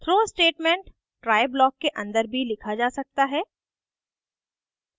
throw statement try block के अंदर भी लिखा जा सकता है